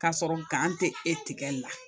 K'a sɔrɔ tɛ e tigɛli la